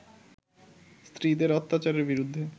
স্ত্রীদের অত্যাচারের বিরুদ্ধে